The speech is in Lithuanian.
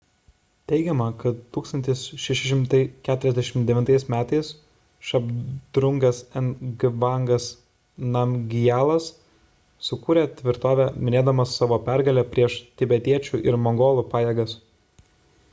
teigiama kad 1649 m šabdrungas ngavangas namgijalas sukūrė tvirtovę minėdamas savo pergalę prieš tibetiečių ir mongolų pajėgas